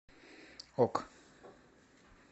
ок